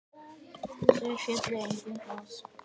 Þar féllu engin flóð.